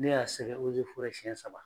Ne y'a sɛbɛn ozeforɛ siyɛn saba.